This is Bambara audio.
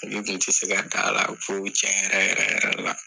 tɛ se ka da la ko cɛn yɛrɛ yɛrɛ yɛrɛ la.